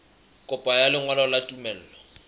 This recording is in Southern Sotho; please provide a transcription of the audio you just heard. kopo ya lengolo la tumello